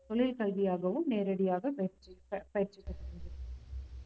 தொழிற்கல்வியாகவும் நேரடியாக பயிற்சி ஆஹ் பயிற்சி